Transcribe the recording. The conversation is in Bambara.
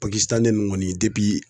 ninnu kɔni